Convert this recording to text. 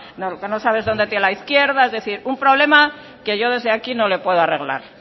donde no sabe es donde tiene la izquierda es decir un problema que yo desde aquí no le puedo arreglar